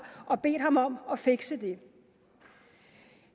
og bedt ham om at fikse det